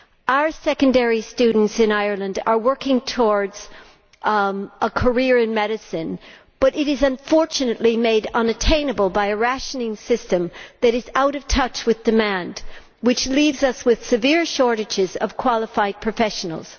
Our secondary students in Ireland are working towards a career in medicine, but it is, unfortunately, made unattainable by a rationing system that is out of touch with demand, which leaves us with severe shortages of qualified professionals.